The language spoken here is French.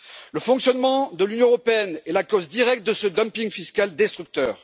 Le fonctionnement de l'Union européenne est la cause directe de ce dumping fiscal destructeur.